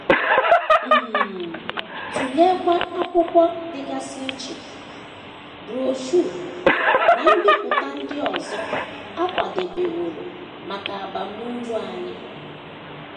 um Tụleekwa akwụkwọ dịgasị iche, broshuọ, na mbipụta ndị ọzọ a kwadebeworo maka abamuru anyị.